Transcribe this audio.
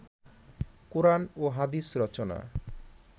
কোরআন ও হাদিস রচনা